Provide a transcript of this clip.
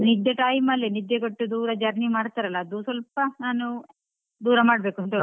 ನಿದ್ದೆ time ಅಲ್ಲೇ ನಿದ್ದೆ ಕೆಟ್ಟು ದೂರ journey ಮಾಡ್ತಾರಲ್ಲ ಅದು ಸ್ವಲ್ಪ ನಾನು ದೂರ ಮಾಡ್ಬೇಕು ಅಂತ ಹೇಳುದು.